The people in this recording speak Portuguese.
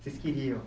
Vocês queriam.